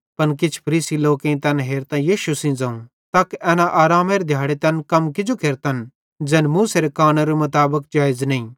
पन किछ फरीसी लोकेईं तैन हेरतां यीशु सेइं ज़ोवं तक एना आरामेरे दिहाड़े तैन कम किजो केरतन ज़ैन मूसेरे कानूनेरे मुताबिक जेइज़ नईं